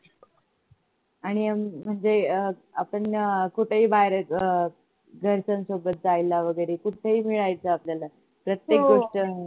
आणि अं म्हणजे अह आपण कुठेही बाहेर अह घरच्यांसोबत जायला वगरे कुठही मिळायचं प्रत्येक गोष्ट